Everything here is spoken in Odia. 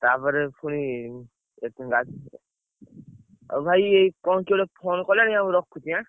ତାପରେ ପୁଣି କେତେ ଆଉ ଭାଇ କଣ କିଏ ଗୋଟେ phone କଲାଣି ଆଉ ମୁଁ ରଖୁଛି ଆନ୍ନ।